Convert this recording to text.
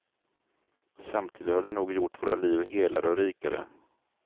Samtidigt har det nog gjort våra liv helare och rikare.